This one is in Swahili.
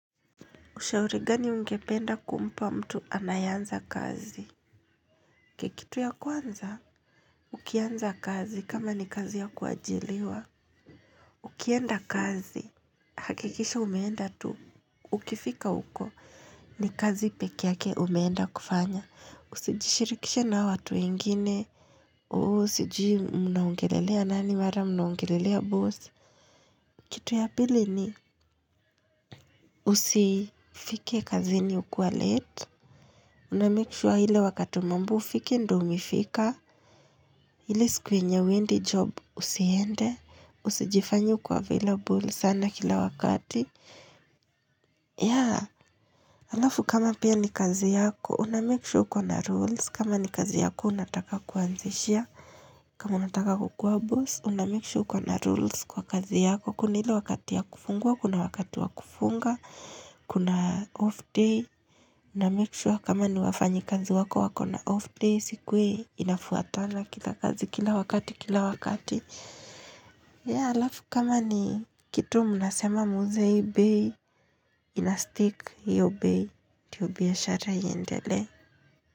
Ushaurigani ungependa kumpa mtu anayeanza kazi? Kekitu ya kwanza, ukianza kazi kama ni kazi ya kuajiliwa. Ukienda kazi, hakikisha umeenda tu. Ukifika huko, ni kazi pekeyake umeenda kufanya. Usijishirikishe na hao watu wengine. Oo, usijui mnaongelelea nani, mara mnaongelelea boss. Kitu ya pili ni, usifike kazini ukiwa late. Unamake sure hile wakati umeambiwa ufike ndio umefika ile siku yenye huendi job usiende Usijifanye uko available sana kila wakati ya halafu kama pia ni kazi yako Unamake sure uko na rules kama ni kazi yako unataka kuanzishia kama unataka kukua boss Unamake sure uko na rules kwa kazi yako Kuna ile wakati ya kufungua Kuna wakati wa kufunga Kuna off day Unamake sure kama ni wafanyi kazi wako wakona off day iSikuwe inafuatana kila kazi kila wakati kila wakati ya halafu kama ni kitu mnasema muuze hii bei Inastick hiyo bei ndiyo biashara iendelee.